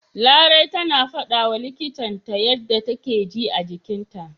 Larai tana fadawa likitan ta yanda take ji a jikinta.